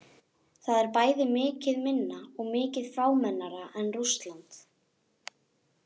Það er bæði mikið minna og mikið fámennara en Rússland.